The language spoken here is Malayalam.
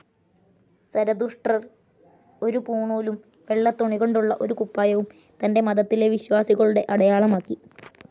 സരതുഷ്ട്രർ ഒരു പൂണൂലും വെള്ള തുണികൊണ്ടുള്ള ഒരു കുപ്പായവും തന്റെ മതത്തിലെ വിശ്വാസികളുടെ അടയാളമാക്കി.